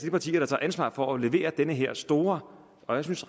partier der tager ansvar for at levere den her store og synes